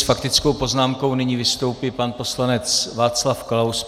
S faktickou poznámkou nyní vystoupí pan poslanec Václav Klaus.